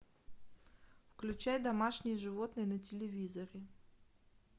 включай домашние животные на телевизоре